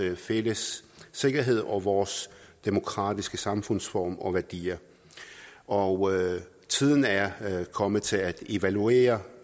fælles sikkerhed og vores demokratiske samfundsform og værdier og tiden er kommet til at evaluere